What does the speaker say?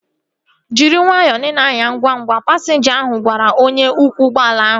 Jiri nwayọọ na ị na-anya ngwa ngwa! Pasinja ahu gwara onye ọkwọ ụgbọala ahu